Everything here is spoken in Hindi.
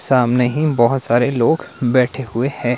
सामने ही बहुत सारे लोग बैठे हुए हैं।